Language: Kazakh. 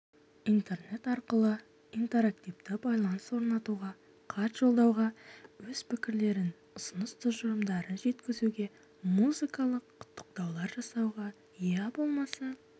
интернет арқылы интерактивті байланыс орнатуға хат жолдауға өз пікірлерін ұсыныс-тұжырымдарын жеткізуге музыкалық құттықтаулар жасауға ия болмаса